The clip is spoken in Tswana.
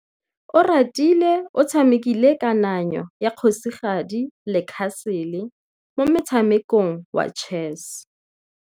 Oratile o tshamekile kananyô ya kgosigadi le khasêlê mo motshamekong wa chess.